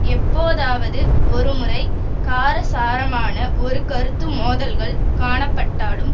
எப்போதாவது ஒரு முறை காரசாரமான ஒரு கருத்து மோதல்கள் காணப்பட்டாலும்